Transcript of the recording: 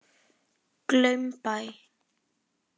Glaumbæ